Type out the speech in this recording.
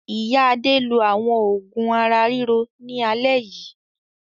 Ìyá Adé lo àwọn òògùn ara-ríro ní alẹ́ yìí.